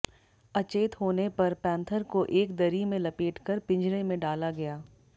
अचेत होने पर पैंथर को एक दरी में लपेटकर पिंजरे में डाला गया